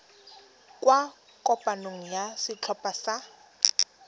kwa kopanong ya setlhopha sa